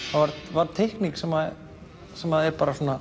var teikning sem sem er bara svona